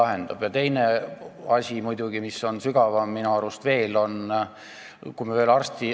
Üks teine asi on minu arust veel sügavam.